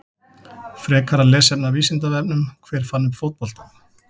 Frekara lesefni af Vísindavefnum: Hver fann upp fótboltann?